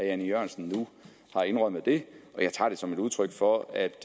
jan e jørgensen nu har indrømmet det og jeg tager det som et udtryk for at